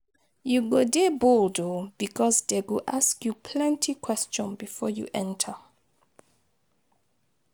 You go dey bold oo, because dey go ask you plenty question before you enter.